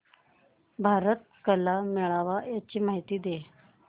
भारत कला मेळावा ची माहिती दे